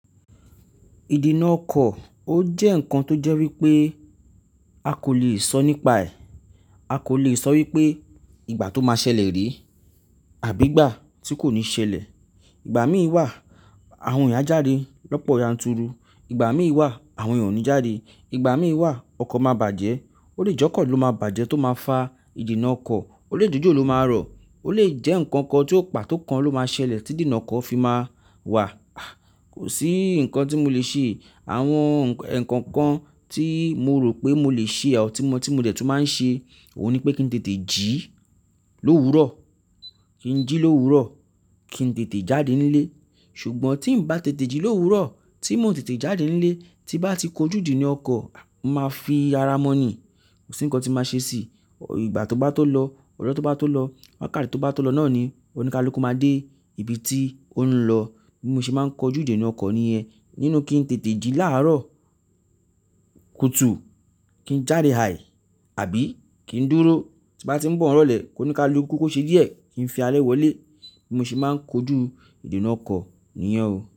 Ìdènà ọkọ̀ ó jẹ́ ǹkan tó jẹ́ wípé a kò le è sọ nípa ẹ̀, a kò le è sọ wípé ìgbà tó máa ṣẹlẹ̀ rí àbí ìgbà tí kò ní ṣẹlẹ̀. Ìgbà míì wà àwọn èèyàn a jáde lọ́pọ̀ yanturu, ìgbà míì wà àwọn èèyàn ò ní jáde, ìgbà míì wà ọkọ̀ máa bàjẹ́, ó lè jẹ́ ọkọ̀ ló máa bàjẹ́ tó máa fa ìdènà ọkọ̀, ó lè jẹ́ jòjò ló máa rọ̀, ó lè jẹ́ ǹkan kan ti ó pátó kan ló máa ṣẹlẹ̀ tí ìdènà ọkọ̀ fi máa wà. Kò sí ǹkan tí mo le ṣe. Àwọn eekokan tí mo rò pé mo lè ṣe or, ti mo tí mo dẹ̀ tún máa ń ṣe òun ni pé kí n tètè jí lówurọ̀, kí n jí lówurọ̀, kí n tètè jáde nílé. Ṣùgbọ́n tí ń bá tètè jí lówurọ̀, tí mo ò tètè jáde nílé, tí bá ti kọjú ìdènà ọkọ̀, màá fi ara mọ̀nì, kò sí ǹkan tí màá ṣe si. Ìgbà tó bá tó lọ, ọjọ tó bá tó lọ, wákàtí tó bá tó lọ náà ni, óníkáluku máa dé ibi tí ó ń lọ. Bí mo ṣe máa ń kọjú ìdènà ọkọ̀ nìyẹn. Nínú kí n tètè jí láàárọ̀, kùtù, kí n jáde hai, àbí kí n dúró tí bá ti ń bọ̀ n rọ̀lẹ̀ kóníkáluku ko ṣe díẹ̀ kí n fi alẹ wọlé. Bí mo ṣe máa ń kọjú ìdènà ọkọ̀ nìyẹn o.